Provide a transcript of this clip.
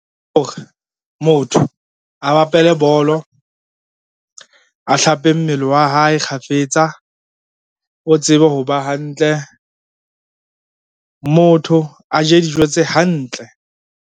O re motho a bapale bolo, a hlape mmele wa hae kgafetsa, o tsebe ho ba hantle. Motho a je dijo tse hantle,